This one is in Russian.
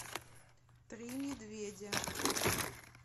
три медведя